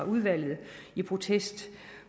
udvalget i protest